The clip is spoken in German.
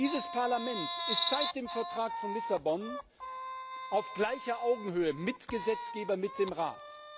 Dieses Parlament ist seit dem Vertrag von Lissabon auf gleicher Augenhöhe Mitgesetzgeber mit dem Rat.